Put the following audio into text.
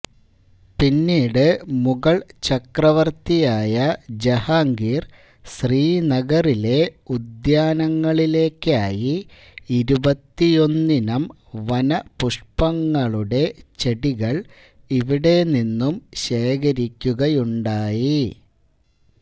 പിന്നീട് മുഗള് ചക്രവര്ത്തിയായ ജഹാംഗീര് ശ്രീനഗറിലെ ഉദ്യാനങ്ങളിലേയ്ക്കായി ഇരുപത്തിയൊന്നിനം വനപുഷ്പങ്ങളുടെ ചെടികള് ഇവിടെനിന്നും ശേഖരിക്കുകയുണ്ടായി